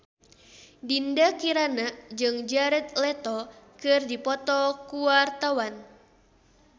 Dinda Kirana jeung Jared Leto keur dipoto ku wartawan